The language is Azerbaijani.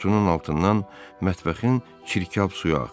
Qutunun altından mətbəxin çirkab suyu axır.